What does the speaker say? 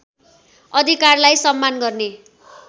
अधिकारलाई सम्मान गर्ने